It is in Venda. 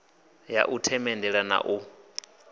ya u themendela na u